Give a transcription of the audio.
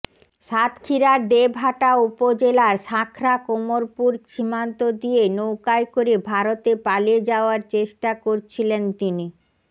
সাতক্ষীরার দেবহাটা উপজেলার শাঁখরা কোমরপুর সীমান্ত দিয়ে নৌকায় করে ভারতে পালিয়ে যাওয়ার চেষ্টা করছিলেন তিনি